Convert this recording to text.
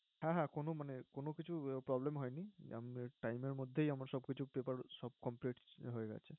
হ্যাঁ হ্যাঁ কোনো মানে কোনো কিছু problem হয়নি, উম time এর মধ্যেই আমার সবকিছু paper সব complete হয়ে গেছে